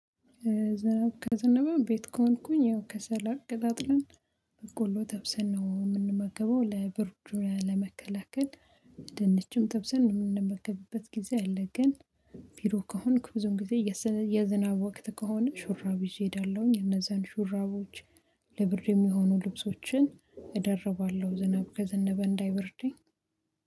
ዝናብ ከዘነበ ቤት ከሆንኩኝ ያው ከሰል አቀጣጥለን በቆሎ ተብሰን ነው የምንመገበው ለብርድ ለመከላከል። ድንችም ተብሰን የምንመገብበት ጊዜ አለ ግን ቢሮ ከሆንኩ ብዙም ጊዜ የዝናብ ወቅት ከሆነ ሹራብ ይዤ እሄዳለሁኝ እነዛን ሹራቦች ለብርድ የሚሆኑ ልብሶችን እደርባለሁ ዝናብ ከዘነበ እንዳይበርደኝ